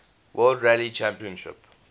world rally championship